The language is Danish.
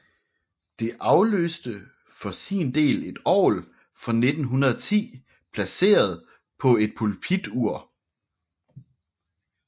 Det afløste for sin del et orgel fra 1910 placeret på et pulpitur